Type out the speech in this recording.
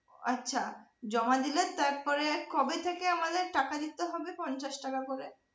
আচ্ছা জমা দিলে তারপরে কবে থেকে আমাদের টাকা দিতে হবে পঞ্চাশ টাকা করে?